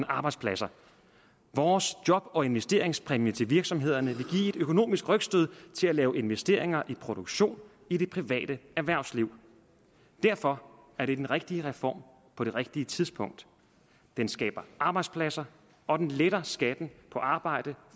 arbejdspladser vores job og investeringspræmie til virksomhederne vil give et økonomisk rygstød til at lave investeringer i produktion i det private erhvervsliv derfor er det den rigtige reform på det rigtige tidspunkt den skaber arbejdspladser og den letter skatten på arbejde